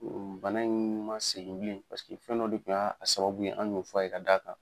Bana in ma segin bilen paseke fɛn dɔ de tun y'a sababu ye an y'o f'a ye ka d'a kan.